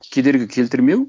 кедергі келтірмеу